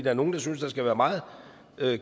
er nogle der synes der skal være meget